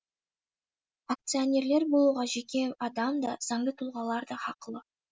акционерлер болуға жеке адам да заңды тұлғалар да хақылы